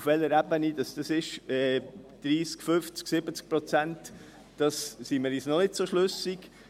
Auf welcher Ebene dies ist, 30, 50, 70 Prozent – diesbezüglich sind wir uns noch nicht schlüssig.